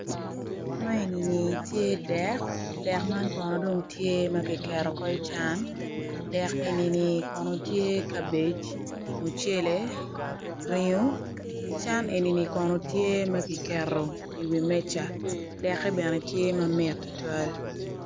Man eni tye dek dek man kono tye ma kiketo i cwan dek eni kono tye kabije mucele ringo cwan eni kono tye ma kiketo i wi meja deke bene tye mamit tutwal.